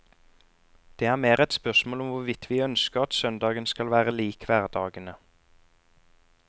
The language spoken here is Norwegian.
Det er mer et spørsmål om hvorvidt vi ønsker at søndagen skal være lik hverdagene.